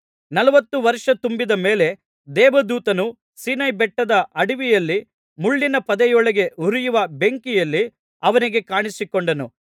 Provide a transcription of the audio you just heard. ನಲವತ್ತು ವರ್ಷ ತುಂಬಿದ ಮೇಲೆ ದೇವದೂತನು ಸೀನಾಯಿಬೆಟ್ಟದ ಅಡವಿಯಲ್ಲಿ ಮುಳ್ಳಿನ ಪೊದೆಯೊಳಗೆ ಉರಿಯುವ ಬೆಂಕಿಯಲ್ಲಿ ಅವನಿಗೆ ಕಾಣಿಸಿಕೊಂಡನು